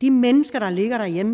de mennesker der ligger derhjemme